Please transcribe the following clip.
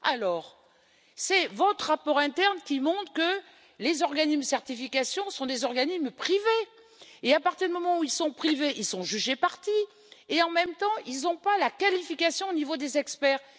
Alors, c'est votre rapport interne qui montre que les organismes de certification sont des organismes privés et à partir du moment où ils sont privés, ils sont juges et parties, et en même temps ils n'ont pas la qualification au niveau des experts.